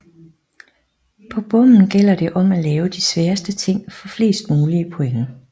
På bommen gælder det om at lave de sværeste ting for flest mulige point